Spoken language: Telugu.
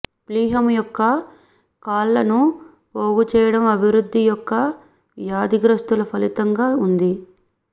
ప్లీహము యొక్క కాళ్ళను పోగు చేయడం అభివృద్ధి యొక్క వ్యాధిగ్రస్తల ఫలితంగా ఉంది